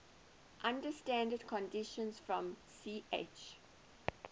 under standard conditions from ch